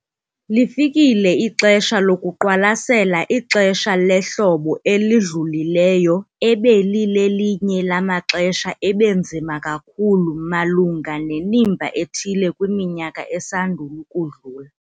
Lifikile ixesha lokuqwalasela ixesha lehlobo elidlulileyo ebelilelinye lamaxesha ebenzima kakhulu malunga nemiba ethile kwiminyaka esandul'ukudlula.